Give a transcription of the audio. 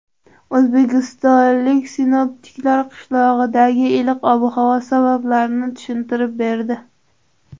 O‘zbekistonlik sinoptiklar qishdagi iliq ob-havo sabablarini tushuntirib berdi.